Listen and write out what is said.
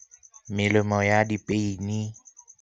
Melemo ya di-pain-i.